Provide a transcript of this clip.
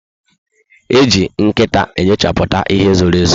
Eji nkịta enyochaputa ihe zoro ezo